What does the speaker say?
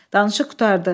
Danışıq qurtardı.